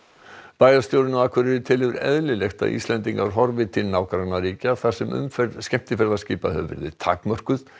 bæjarstjórinn á Akureyri telur eðlilegt að Íslendingar horfi til nágrannaríkja þar sem umferð skemmtiferðaskipa hefur verið takmörkuð